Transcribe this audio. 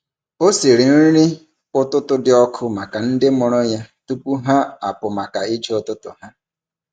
Ọ siri nri ụtụtụ dị ọkụ maka ndị mụrụ ya tupu ha apụ maka ije ụtụtụ ha.